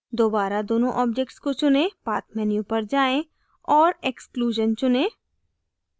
दोबारा दोनों objects को चुनें path menu पर जाएँ और exclusion चुनें